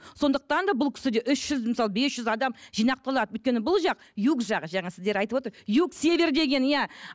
сондықтан да бұл кісіде үш жүз мысалы бес жүз адам өйткені бұл жақ юг жақ жаңа сіздер айтывотыр юг север деген иә